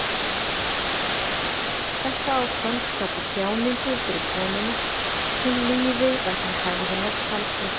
Þetta ástand skapi þjáningu fyrir konuna, hún líði vegna hegðunar karlsins.